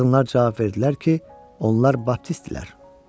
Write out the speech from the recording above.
Qadınlar cavab verdilər ki, onlar baptistdirlər.